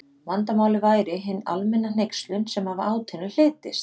Vandamálið væri hin almenna hneykslun sem af átinu hlytist.